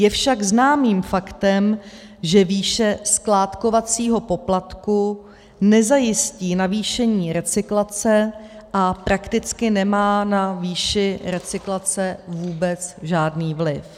Je však známým faktem, že výše skládkovacího poplatku nezajistí navýšení recyklace a prakticky nemá na výši recyklace vůbec žádný vliv.